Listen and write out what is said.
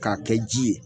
K'a kɛ ji ye